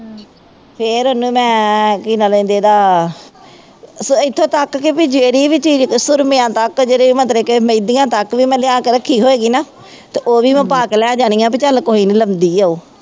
ਫੇਰ ਉਹਨੂੰ ਮੈਂ ਕੀ ਨਾਂ ਲੈਂਦੇ ਉਹਦਾ ਸੋ ਇੱਥੋ ਤੱਕ ਕਿ ਬਈ ਜਿਹੜੀ ਵੀ ਚੀਜ਼ ਸੂਰਮਿਆਂ ਤੱਕ ਜਿਹੜੇ ਮਤਲਬ ਕਿ ਮਹਿੰਦੀਆਂ ਤੱਕ, ਵੀ ਮੈਂ ਲਿਆ ਕੇ ਰੱਖੀ ਹੋਏਗੀ ਨਾ, ਤੇ ਉਹ ਵੀ ਮੈਂ ਪਾ ਕੇ ਲੈ ਜਾਂਦੀ ਹਾਂ ਬਈ ਚੱਲ ਕੋਈ ਨਹੀਂ ਲਾਉਂਦੀ ਹੈ ਉਹ,